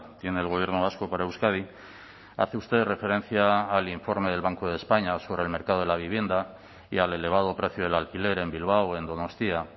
tiene el gobierno vasco para euskadi hace usted referencia al informe del banco de españa sobre el mercado de la vivienda y al elevado precio del alquiler en bilbao en donostia